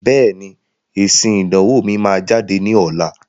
Bẹ́ẹ̀ni, èsìn ìdánwò mi máa jáde ní ọ̀la.